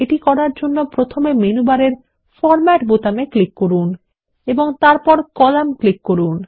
এটি করার জন্য প্রথমে মেনু বারের ফরম্যাট বোতামে ক্লিক করুন এবং তারপর কলাম ক্লিক করুন